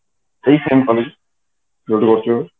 ଏଇ ଯୋଉଠି କରୁଥିଲି